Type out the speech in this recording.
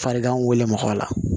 Farigan wolola